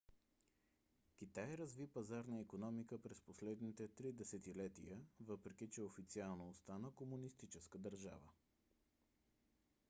китай разви пазарна икономика през последните три десетилетия въпреки че официално остана комунистическа държава